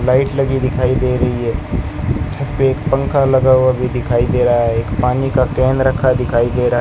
light लगी दिखाई दे रही है छत पे एक पंखा लगा हुआ भी दिखाई दे रहा है एक पानी का कैन रखा दिखाई दे रहा --